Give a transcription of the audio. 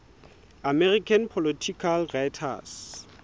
american political writers